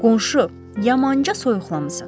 Qonşu, yamanca soyuqlamısan.